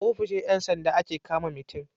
a ofishin Yan sanda ake kama mitin